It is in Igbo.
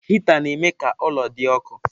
Hịta na-eme ka ụlọ dị ọkụ.